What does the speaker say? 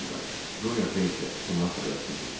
Qoryata isə bundan xəbərsiz idi.